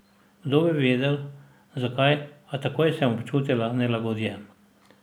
Kdo bi vedel, zakaj, a takoj sem občutila nelagodje.